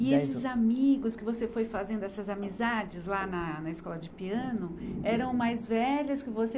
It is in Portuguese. E esses amigos que você foi fazendo, essas amizades lá na na escola de piano, eram mais velhas que você?